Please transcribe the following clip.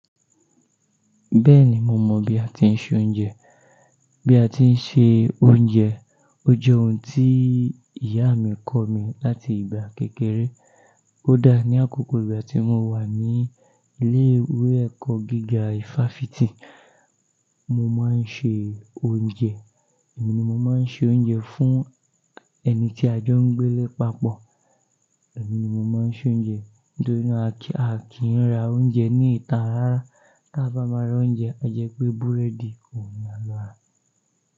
Bẹ́ẹ̀ni, mo mọ̀ bí a ti ń se oúnjẹ. Bí a ti ń se oúnjẹ jẹ́ ohun tí ìyá mi kọ̀ mí láti ìgbà kékeré. Kódà ní àkókò ìgbà tí mo wà ní ilé ìwé ẹ̀kọ́ gíga ifásitì, mo máa ń se oúnjẹ. Èmi ni mo máa ń se oúnjẹ fún ẹni tí a jọ ń gbé lé papọ̀. Èmi ni mo máa ń se oúnjẹ nítorí náà a kì í ra oúnjẹ ní ìta rárá. Tá bá máa ra oúnjẹ, a jẹ pé búrẹ́dì òun ni a lọ rà.